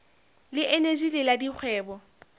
le eneji le la dikgwebo